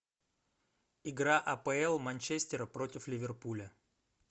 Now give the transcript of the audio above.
игра апл манчестера против ливерпуля